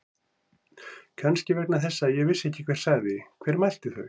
Kannski vegna þess að ég vissi ekki hver sagði. hver mælti þau.